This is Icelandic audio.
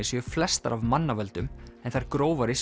séu flestar af mannavöldum en þær grófari